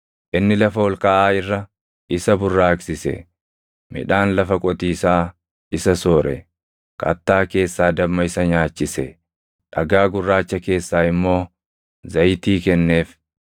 Inni lafa ol kaʼaa irra isa burraaqsise; midhaan lafa qotiisaa isa soore. Kattaa keessaa damma isa nyaachise; dhagaa gurraacha keessaa immoo zayitii kenneef;